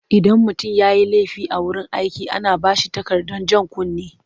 Idan mutum ya yi laifi a wurin aiki ana ba shi takardar jan kunne,